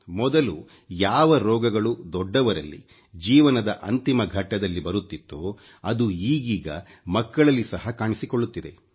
ಮೊದಲು ಯಾವ ರೋಗಗಳು ದೊಡ್ಡವರಲ್ಲಿ ಜೀವನದ ಅಂತಿಮ ಘಟ್ಟದಲ್ಲಿ ಬರುತ್ತಿತ್ತೋ ಅದು ಈಗೀಗ ಮಕ್ಕಳಲ್ಲಿ ಸಹ ಕಾಣಿಸಿಕೊಳ್ಳುತ್ತಿದೆ